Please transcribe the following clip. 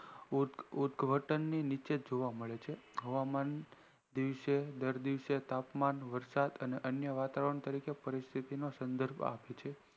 યોદ્ઘાટન ની નીચે જોવા મળે છે હવામાન ના દિવસે દર દિવસે તાપમાન વરસાદ અન્ય વાતાવરણ તરીકે પરિસ્થિતિ નો સંદર્ભ આપે છે